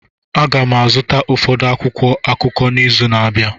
Aga m azụta ụfọdụ akwụkwọ akụkọ n'izu na-abịa